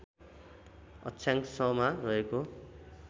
अक्षाङ्शमा रहेको